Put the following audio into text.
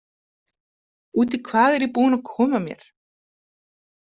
Út í hvað er ég búin að koma mér?